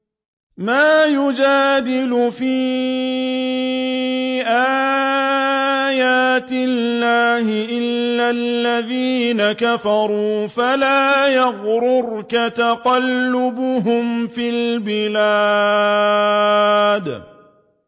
مَا يُجَادِلُ فِي آيَاتِ اللَّهِ إِلَّا الَّذِينَ كَفَرُوا فَلَا يَغْرُرْكَ تَقَلُّبُهُمْ فِي الْبِلَادِ